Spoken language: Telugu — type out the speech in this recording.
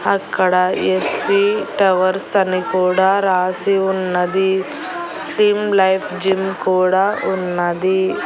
అక్కడ యస్ వి టవర్స్ అని కూడా రాసి ఉన్నది స్లిమ్ లైఫ్ జిమ్ కూడా ఉన్నది.